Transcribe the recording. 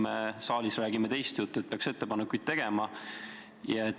Me ju saalis räägime teist juttu, et peaks ettepanekuid tegema.